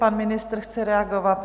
Pan ministr chce reagovat?